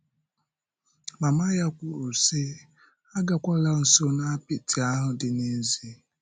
Mama ya kwùrù, sị: “Agakwàla nso n’apịtị ahụ dị n’èzí.”